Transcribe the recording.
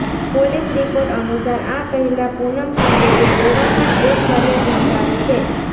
police report અનુસાર આ પહેલા પૂનમ પાંડેએ ગોવામાં જ એક ફરિયાદ નોંધાવી છે